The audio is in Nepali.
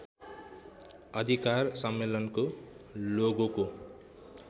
अधिकार सम्मेलनको लोगोको